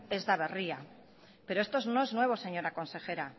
ez da berria pero esto no es nuevo señorea consejera